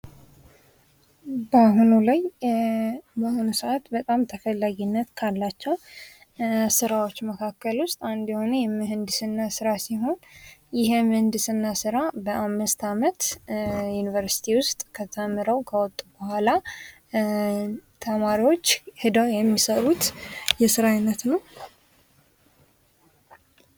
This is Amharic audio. በአሁኑ ሰአት በጣም ተፈላጊነት ካላቸው ስራዎች መካከል ውስጥ አንዱ የሆነው የምህንድስና ስራ ሲሆን ይሄ የምህንድስና ስራ በአምስት አመት ዩኒቨርስቲ ውስጥ ተምረው ከወጡ በኋላ ተማሪዎች ሂደው የሚሰሩት የስራ አይነት ነው።